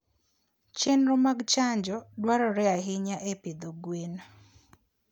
Chenro mag chanjo dwarore ahinya e pidho gwen.